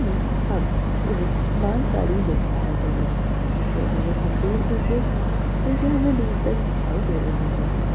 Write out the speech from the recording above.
में हम एक माल गाड़ी देख पा रहे है जिसे अगर हम दूर तक देखें तो ये हमें दूर तक दिखाई दे रही है।